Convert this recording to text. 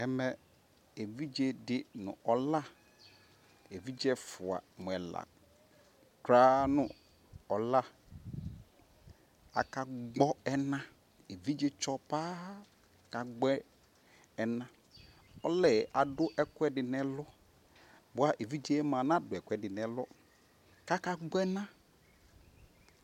ɛmɛ ɛvidzɛ di nʋ ɔla, ɛvidzɛ ɛƒʋa mʋ ɛla krʋaa nʋ ɔla aka gbɔ ɛna? ɛvidzɛ tsɔ paaa ka gbɔ ɛna, ɔlɛ adʋ ɛkʋɛdi nʋ ɛlʋ bʋa ɛvidzɛ mʋa nadʋ ɛkʋɛdi nʋ ɛlʋ kʋ aka gbɔ ɛna